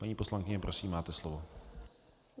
Paní poslankyně, prosím, máte slovo.